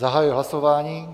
Zahajuji hlasování.